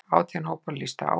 Átján hópar lýstu áhuga.